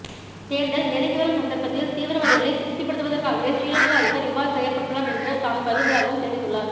தேர்தல் நெருங்கி வரும் சந்தர்ப்பத்தில் தீவிரவாதிகளைத் திருப்திப்படுத்துவதற்காகவே சிறிலங்கா அதிபர் இவ்வாறு செயற்பட்டுள்ளார் என்று தாம் கருதுவதாகவும் தெரிவித்துள்ளார்